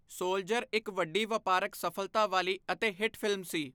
Soldier' ਇੱਕ ਵੱਡੀ ਵਪਾਰਕ ਸਫਲਤਾ ਵਾਲੀ ਅਤੇ ਹਿੱਟ ਫ਼ਿਲਮ ਸੀ।